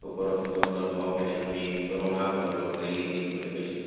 ওপৰৰ ফটোখনৰ বাওঁপিনে আমি ৰঙা বৰণৰ ৰেলিং দেখিবলৈ পাইছোঁ।